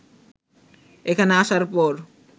এখানে আসার পর